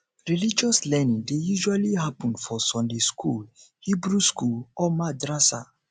religious learning dey usually happen for sunday school hebrew school or madrasa